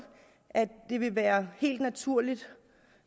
at det vil være helt naturligt